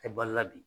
Tɛ balo la bi